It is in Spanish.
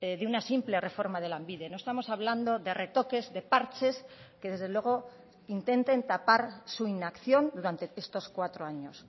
de una simple reforma de lanbide no estamos hablando de retoques de parches que desde luego intenten tapar su inacción durante estos cuatro años